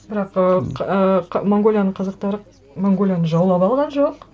бірақ ы ы монғолияның қазақтары монғолияны жаулап алған жоқ